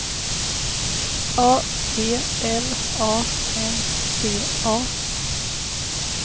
A T L A N T A